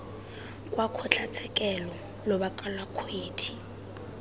kwa kgotlatshekelo lobaka lwa kgwedi